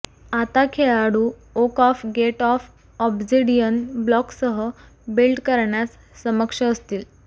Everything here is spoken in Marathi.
आता खेळाडू oak of gate of obsidian ब्लॉक्ससह बिल्ड करण्यास सक्षम असतील